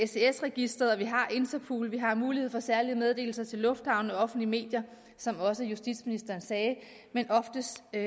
registeret og vi har interpol vi har mulighed for særlige meddelelser til lufthavne og offentlige medier som også justitsministeren sagde men oftest vil